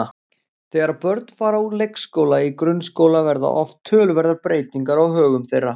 Þegar börn fara úr leikskóla í grunnskóla verða oft töluverðar breytingar á högum þeirra.